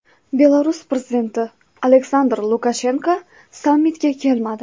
Belarus prezidenti Aleksandr Lukashenko sammitga kelmadi.